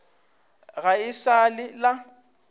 ga e sa le la